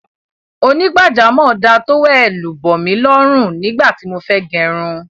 Onígbàjámọ̀ náà da tówẹ́ẹ́nù bòmí lọrù nígbà tí mo fẹ́ gẹrun